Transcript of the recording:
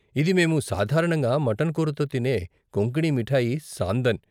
ఇది మేము సాధారణంగా మటన్ కూరతో తినే కొంకణీ మిఠాయి, సాందన్.